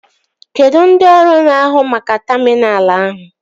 Kedụ ndị ọrụ na-ahu maka taminal ahụ?